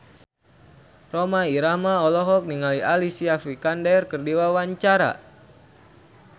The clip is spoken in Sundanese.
Rhoma Irama olohok ningali Alicia Vikander keur diwawancara